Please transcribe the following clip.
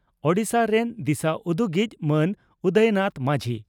ᱳᱰᱤᱥᱟ ᱨᱮᱱ ᱫᱤᱥᱟᱹᱩᱫᱩᱜᱤᱡ ᱢᱟᱱ ᱩᱫᱚᱭᱱᱟᱛᱷ ᱢᱟᱹᱡᱷᱤ